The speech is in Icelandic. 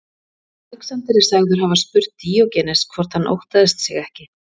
Alexander er sagður hafa spurt Díógenes hvort hann óttaðist sig ekki.